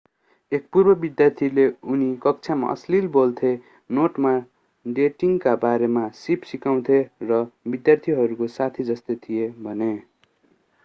एक पूर्व विद्यार्थीले उनी कक्षामा अश्लील बोल्थे नोटमा डेटिङका बारेमा सीप सिकाउँथे र विद्यार्थीहरूको साथी जस्तै थिए भने